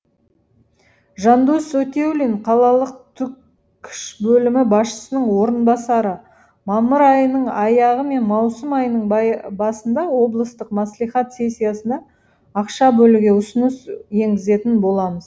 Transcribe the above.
жандос өтеулин қалалық түкш бөлімі басшысының орынбасары мамыр айының аяғы мен маусым айының басында облыстық мәслихат сессиясында ақша бөлуге ұсыныс енгізетін боламыз